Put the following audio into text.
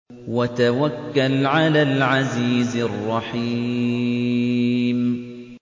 وَتَوَكَّلْ عَلَى الْعَزِيزِ الرَّحِيمِ